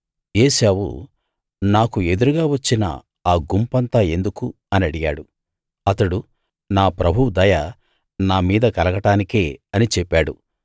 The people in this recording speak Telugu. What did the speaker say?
ఏశావు నాకు ఎదురుగా వచ్చిన ఆ గుంపంతా ఎందుకు అని అడిగాడు అతడు నా ప్రభువు దయ నా మీద కలగడానికే అని చెప్పాడు